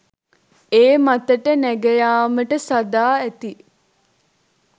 ඒ මතට නැඟයාමට සාදා ඇති